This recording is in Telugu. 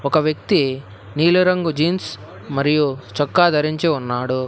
ఒక వ్యక్తి నీలి రంగు జీన్స్ మరియు చొక్కా ధరించి ఉన్నాడు.